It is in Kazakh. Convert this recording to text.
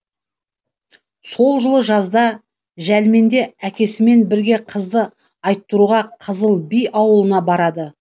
сол жылы жазда жәлменде әкесімен бірге қызды айттыруға қызыл би ауылына барады